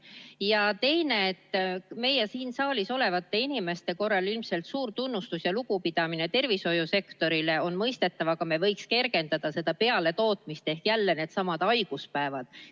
Ja teiseks, meie, siin saalis olevate inimeste ilmselt suur tunnustus ja lugupidamine tervishoiusektorile on mõistetav, aga me võiks kergendada seda pealetootmist ehk jälle needsamad haiguspäevad.